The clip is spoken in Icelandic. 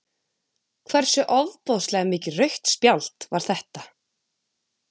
Hversu ofboðslega mikið rautt spjald var þetta?